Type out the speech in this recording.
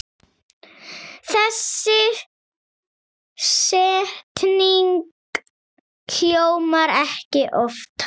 Þessi setning hljómar ekki oftar.